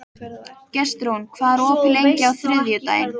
Gestrún, hvað er opið lengi á þriðjudaginn?